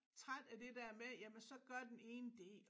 Træt af det der med jamen så gør den ene det